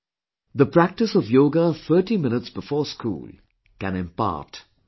The practice of Yoga 30 minutes before school can impart much benefit